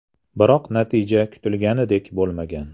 Biroq natija kutilganidek bo‘lmagan.